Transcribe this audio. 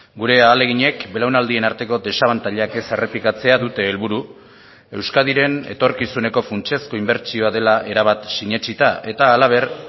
gure ahaleginek belaunaldien arteko desabantailak ez errepikatzea dute helburu euskadiren etorkizuneko funtsezko inbertsioa dela erabat sinetsita eta halaber